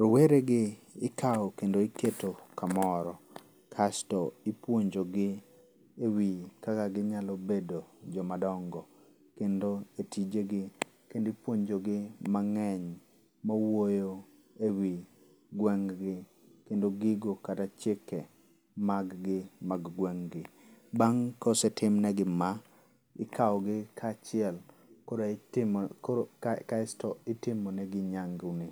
Rowere gi ikaw kendo iketo kamoro kasto ipuonjo gi e wi kaka ginyalo bedo joma dongo. Kendo e tijegi kendo ipuonjo gi mang'eny mawuoyo e wi gweng' gi kendo gigo kata chike mag gi mag gweng' gi. Bang' kosetimnegi ma, ikaw gi kachiel koro itimo koro kaesto itimonegi nyangu ni.